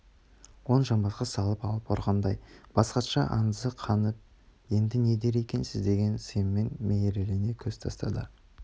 оң жамбасқа салып алып ұрғандай бас хатшы айызы қанып енді не дер екенсің деген сыңаймен мерейлене көз тастады